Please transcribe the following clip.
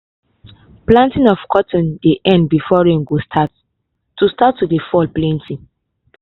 planting of cotton dey end before rain go start to start to dey fall plenti.